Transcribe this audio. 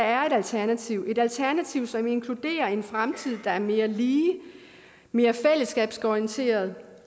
er et alternativ et alternativ som inkluderer en fremtid der er mere lige mere fællesskabsorienteret